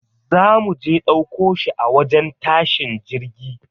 Za muje ɗauko shi a wajen tashin jirgi.